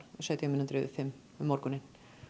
sautján mínútur yfir fimm um morguninn